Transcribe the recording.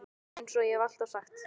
Eins og ég hef alltaf sagt.